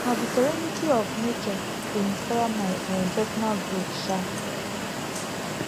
na di serenity of nature dey inspire my um personal growth um